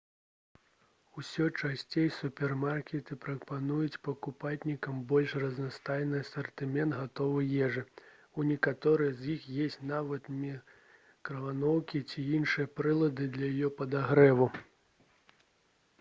усё часцей супермаркеты прапануюць пакупнікам больш разнастайны асартымент гатовай ежы у некаторых з іх ёсць нават мікрахвалёўкі ці іншыя прылады для яе падагрэву